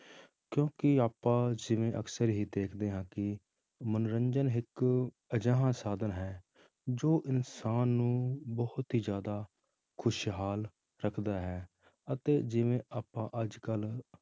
ਕਿਉਂਕਿ ਆਪਾਂ ਜਿਵੇਂ ਅਕਸਰ ਹੀ ਦੇਖਦੇ ਹਾਂ ਕਿ ਮਨੋਰੰਜਨ ਇੱਕ ਅਜਿਹਾ ਸਾਧਨ ਹੈ ਜੋ ਇਨਸਾਨ ਨੂੰ ਬਹੁਤ ਹੀ ਜ਼ਿਆਦਾ ਖ਼ੁਸ਼ਹਾਲ ਰੱਖਦਾ ਹੈ ਅਤੇ ਜਿਵੇਂ ਆਪਾਂ ਅੱਜ ਕੱਲ੍ਹ